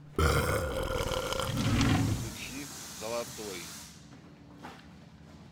включи золотой